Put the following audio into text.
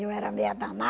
Eu era meia